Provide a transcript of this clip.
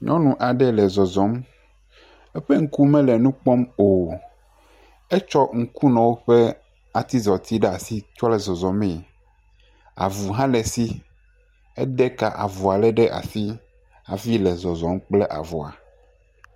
Nyɔnu aɖe le zɔzɔm. Eƒe ŋku mele nu kpɔm o. Etsɔ ŋkunɔwo ƒe atizɔti ɖe asi kɔ le zɔzɔm. Avu hã le esi. Ede ka avua lé ɖe asi hafi le zɔzɔm kple avua